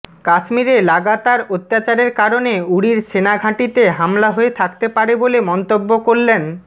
কাশ্মীরে লাগাতার অত্যাচারের কারণে উরির সেনাঘাঁটিতে হামলা হয়ে থাকতে পারে বলে মন্তব্য করলেন